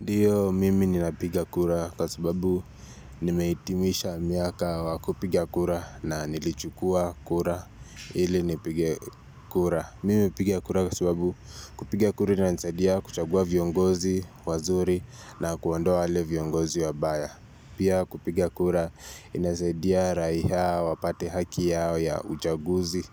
Ndiyo mimi ninapigia kura kwa sababu nimeitimisha miaka wakupigia kura na nilichukua kura ili nipige kura. Mimi hupiga kura kwa sababu kupigia kura inasadia kuchagua viongozi wazuri na kuondoa wale viongozi wa baya. Pia kupigia kura inasadia raiha wapate haki yao ya uchaguzi